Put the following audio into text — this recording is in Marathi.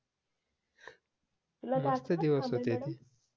तुला